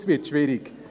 – Das wird schwierig.